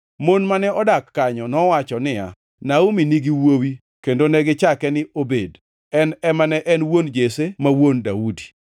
Mon mane odak kanyo nowacho niya, “Naomi nigi wuowi.” Kendo negichake ni Obed. En ema ne en wuon Jesse ma wuon Daudi.